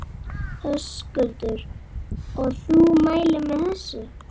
Höskuldur: Og þú mælir með þessu?